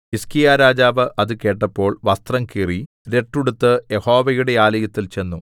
ഹിസ്കീയാരാജാവ് അത് കേട്ടപ്പോൾ വസ്ത്രം കീറി രട്ടുടുത്ത് യഹോവയുടെ ആലയത്തിൽ ചെന്നു